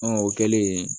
Ɔn o kɛlen